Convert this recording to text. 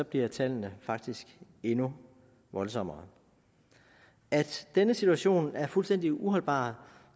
bliver tallene faktisk endnu voldsommere at denne situation er fuldstændig uholdbar